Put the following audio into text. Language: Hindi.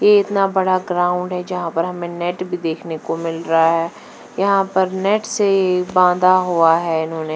ये इतना बड़ा ग्राउंड है जहाँ पर हमें नेट भी देखने को मिल रही है यहाँ पर नेट से ही बंधा हुआ है इन्होने--